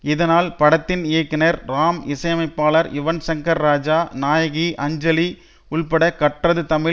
இதனால் படத்தின் இயக்குனர் ராம் இசையமைப்பாளர் யுவன்ஷங்கர்ராஜா நாயகி அஞ்சலி உள்பட கற்றது தமிழ்